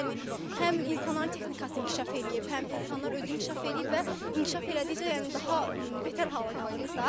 Yəni həm insanların texnikası inkişaf eləyib, həm insanlar özü inkişaf eləyib və inkişaf elədikcə yəni daha betər hala qalırıq da.